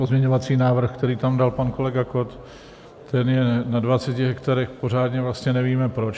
Pozměňovací návrh, který tam dal pan kolega Kott, ten je na 20 hektarech, pořádně vlastně nevíme, proč.